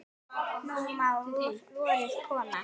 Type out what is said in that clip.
Nú má vorið koma.